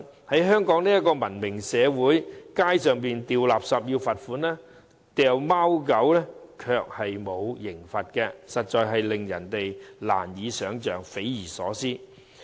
在香港這個文明社會，隨處拋棄垃圾要罰款，遺棄貓狗卻不用受罰，實在令人匪夷所思。